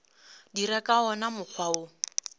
dira ka wona mokgwa wo